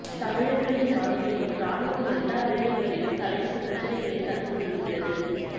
தமிழர்களின் வாழ்க்கையில் இராணுவம் எல்லா விடயங்களிலும் தலையிட்டு பிரச்சினைகளைத் தந்து கொண்டிருக்கின்றது